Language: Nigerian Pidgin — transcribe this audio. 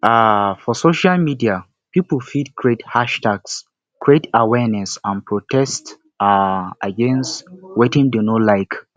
um for social media pipo fit create hashtags create awareness and protest um against wetin dem no like